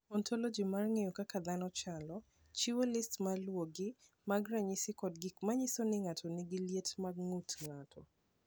"Ontoloji mar ng’eyo kaka dhano chalo, chiwo list ma luwogi mag ranyisi kod gik ma nyiso ni ng’ato nigi liet mar ng’ut ng’ato."